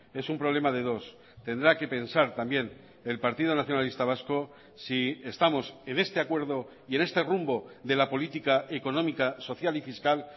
es un problema de dos tendrá que pensar también el partido nacionalista vasco si estamos en este acuerdo y en este rumbo de la política económica social y fiscal